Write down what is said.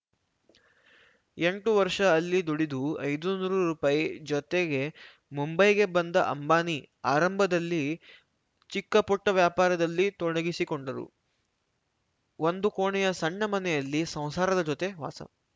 ಎಂಟು ವರ್ಷ ಅಲ್ಲಿ ದುಡಿದು ಐದುನೂರು ರುಪಾಯಿ ಜೊತೆಗೆ ಮುಂಬೈಗೆ ಬಂದ ಅಂಬಾನಿ ಆರಂಭದಲ್ಲಿ ಚಿಕ್ಕಪುಟ್ಟವ್ಯಾಪಾರದಲ್ಲಿ ತೊಡಗಿಸಿಕೊಂಡರು ಒಂದು ಕೋಣೆಯ ಸಣ್ಣ ಮನೆಯಲ್ಲಿ ಸಂಸಾರದ ಜೊತೆ ವಾಸ